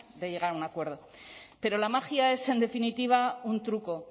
de llegar a un acuerdo pero la magia es en definitiva un truco